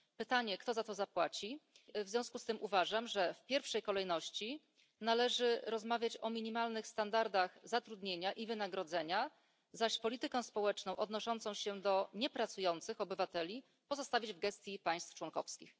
Pytanie, kto za to zapłaci. W związku z tym uważam, że w pierwszej kolejności należy rozmawiać o minimalnych standardach zatrudnienia i wynagrodzenia, zaś politykę społeczną odnoszącą się do niepracujących obywateli pozostawić w gestii państw członkowskich.